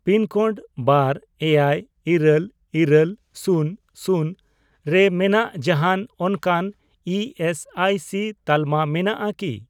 Pin code ᱵᱟᱨ, ᱮᱭᱟᱭ, ᱤᱨᱟᱹᱞ, ᱤᱨᱟᱹᱞ, ᱥᱩᱱ ᱥᱩᱱ ᱨᱮ ᱢᱮᱱᱟᱜ ᱡᱟᱦᱟᱱ ᱚᱱᱠᱟᱱ ᱤ ᱮᱥ ᱟᱭ ᱥᱤ ᱛᱟᱞᱟᱢᱟ ᱢᱮᱱᱟᱜᱼᱟ ᱠᱤ ?